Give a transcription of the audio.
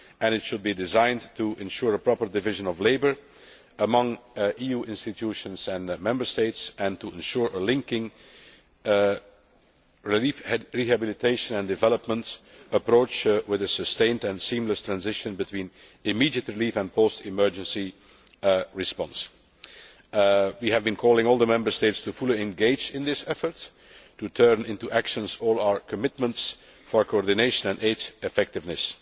This should be designed to ensure a proper division of labour among EU institutions and Member States and to ensure a linked relief rehabilitation and development approach, with a sustained and seamless transition between immediate relief and post emergency response. We have been calling on all the Member States to fully engage in these efforts, and to turn into actions all our commitments for coordination and aid effectiveness.